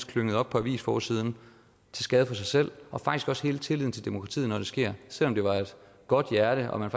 klynget op på avisforsiderne til skade for sig selv og faktisk også til hele tilliden til demokratiet når det sker selv om det var af et godt hjerte og man